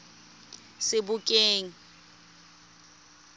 sebokeng